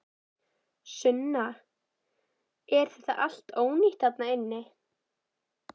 Sunna: Er þetta allt ónýtt þarna inni?